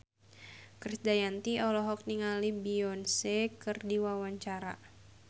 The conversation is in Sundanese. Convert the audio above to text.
Krisdayanti olohok ningali Beyonce keur diwawancara